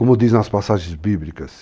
Como diz nas passagens bíblicas,